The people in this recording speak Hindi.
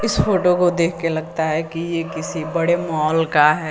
इस फोटो को देख के लगता है कि ये किसी बड़े मॉल का है।